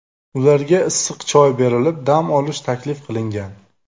Ularga issiq choy berilib, dam olish taklif qilingan.